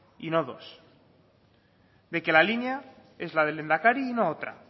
y no dos de que la línea es la del lehendakari y no otra